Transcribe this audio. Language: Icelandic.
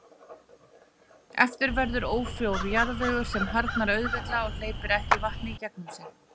Eftir verður ófrjór jarðvegur sem harðnar auðveldlega og hleypir ekki vatni í gegnum sig.